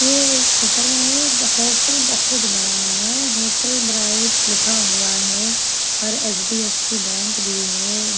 ये एक होटल है होटल बहुत बड़ा है होटल ब्राइट लिखा हुआ है और हड़फसी बैंक भी है।